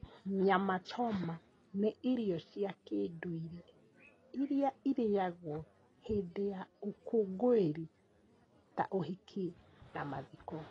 Nyama choma nĩ irio cia kĩndũire iria irĩyagũo hĩndĩ ya ũkũngũĩri ta ũhiki na mathiko.